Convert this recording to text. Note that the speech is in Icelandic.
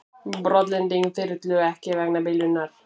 Brotlending þyrlu ekki vegna bilunar